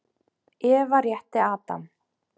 Eva rétti Adam.